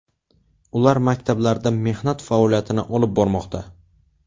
Ular maktablarda mehnat faoliyatini olib bormoqda.